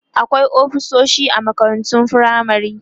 akwai ofisoshi a makarantun firamare